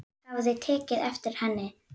Hafði tekið eftir henni.